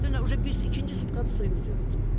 Dünən iki, ikinci sutkadır suyumuz yoxdur.